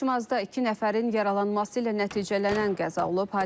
Xaçmazda iki nəfərin yaralanması ilə nəticələnən qəza olub.